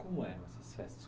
Como eram essas festas?